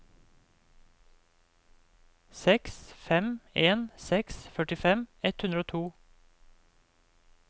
seks fem en seks førtifem ett hundre og to